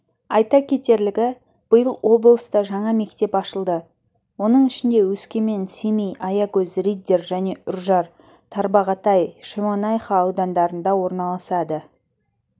айта кетерлігі биыл облыста жаңа мектеп ашылды оның ішінде өскемен семей аягөз риддер және үржар тарбағатай шемонаиха аудандарында орналасады